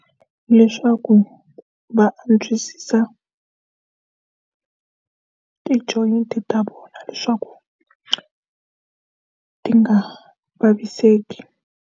Leswaku va antswisa ti-joint-i ta vona leswaku ti nga vaviseki.